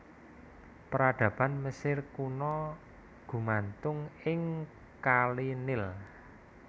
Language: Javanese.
Peradaban Mesir Kuna gumantung ing kali Nil